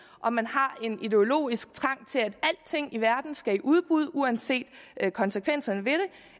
om man har en ideologisk trang til at alting i verden skal i udbud uanset konsekvenserne